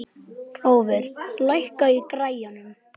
Það virtist þungt yfir honum og ég fylltist kvíða.